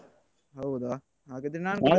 ಹೌದಾ ಹಾಗಾದ್ರೆ ನಾನು ಕೂಡ.